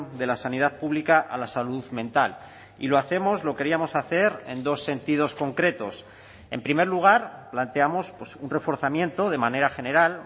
de la sanidad pública a la salud mental y lo hacemos lo queríamos hacer en dos sentidos concretos en primer lugar planteamos un reforzamiento de manera general